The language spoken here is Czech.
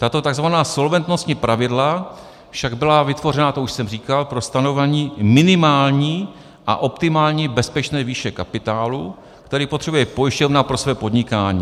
Tato tzv. solventnostní pravidla však byla vytvořena, to už jsem říkal, pro stanovení minimální a optimální bezpečné výše kapitálu, který potřebuje pojišťovna pro své podnikání.